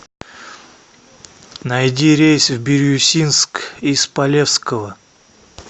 найди рейс в бирюсинск из полевского